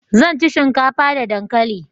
zan ci shinkafa da dankali